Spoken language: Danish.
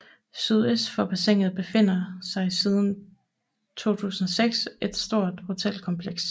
Sydøst for bassinet befinder sig siden 2006 et stort hotelkompleks